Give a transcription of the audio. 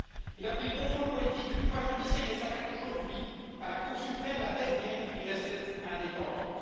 Il a pris le contrôle politique du pouvoir judiciaire et s'attaque aujourd'hui à la Cour suprême, la dernière qui restait indépendante.